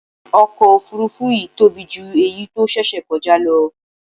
Ọkọ̀ Òfurufú yìí tóbi jù èyí tó ṣẹ̀ṣẹ̀ kọjá lọ.